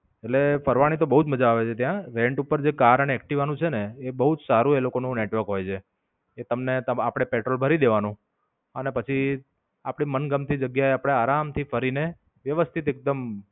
એટલે ફરવાની તો બવ જ મજા આવે છે ત્યાં. rant ઉપર કાર અને એક્ટિવા નું જે છેને એ બઉ જ સારું એ લોકો નું network હોય છે એ તમને આપડે પેટ્રોલ ભરી દેવાનું અને પછી આપડી મનગમતી જગ્યા એ આપડે આરામ થી ફરી નેવ્યવસ્થિત એકદમ